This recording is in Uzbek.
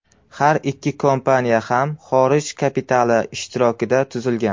Har ikki kompaniya ham xorij kapitali ishtirokida tuzilgan.